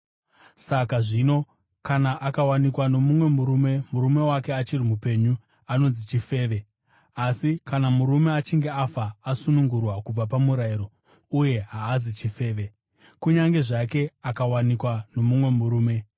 Saka zvino, kana akawanikwa nomumwe murume, murume wake achiri mupenyu, anonzi chifeve. Asi kana murume achinge afa, asunungurwa kubva pamurayiro, uye haazi chifeve, kunyange zvake akawanikwa nomumwe murume.